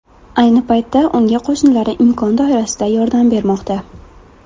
Ayni paytda unga qo‘shnilari imkon doirasida yordam bermoqda.